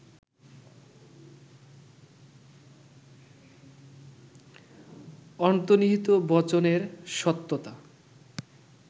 অন্তর্নিহিত বচনের সত্যতা